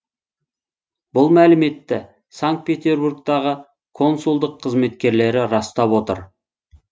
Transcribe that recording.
бұл мәліметті санкт петербургтағы консулдық қызметкерлері растап отыр